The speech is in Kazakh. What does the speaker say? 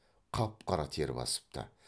қап қара тер басыпты